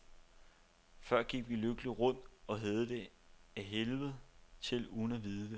Før gik vi lykkeligt rundt og havde det ad helvede til uden at vide det.